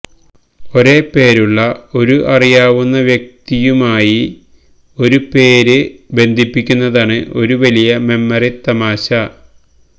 ഒരേ പേരുള്ള ഒരു അറിയാവുന്ന വ്യക്തിയുമായി ഒരു പേര് ബന്ധിപ്പിക്കുന്നതാണ് ഒരു വലിയ മെമ്മറി തമാശ